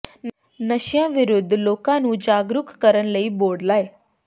ਨਸ਼ਿਆਂ ਵਿਰੁੱਧ ਲੋਕਾਂ ਨੂੰ ਜਾਗਰੂਕ ਕਰਨ ਲਈ ਬੋਰਡ ਲਾਏ